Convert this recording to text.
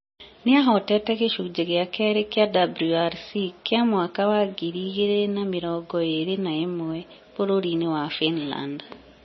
Nĩ ahotete gĩcunjĩ gĩa kerĩ kĩa WRC kĩa mwaka wa ngiri igĩrĩ na mĩrongo ĩrĩ na ĩmwe bũrũri-inĩ wa Finland.